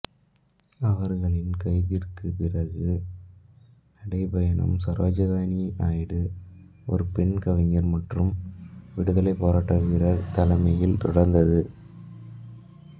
அவர்களின் கைதிற்குப் பிறகு நடைப்பயணம் சரோஜினி நாயுடு ஒரு பெண் கவிஞர் மற்றும் விடுதலைப் போராட்ட வீரர் தலைமையில் தொடர்ந்தது